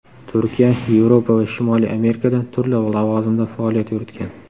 Turkiya, Yevropa va Shimoliy Amerikada turli lavozimda faoliyat yuritgan.